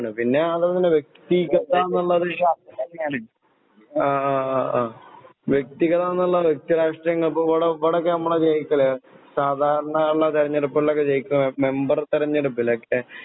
പിന്നെ അത് മാത്രമല്ല വ്യക്തി ആഹ് വ്യക്തികളാണെന്നല്ല വ്യക്തി രാഷ്ട്രീയം ഇപ്പൊ ഇവിടെ ഇവിടെ ഇപ്പൊ നമ്മളാ ജയിക്കല്. സാധാരണ ഇള്ള തെരഞ്ഞെടുപ്പികളിലൊക്കെ ജയിക്കല് മെമ്പർ തെരഞ്ഞെടുപ്പിലെക്കെ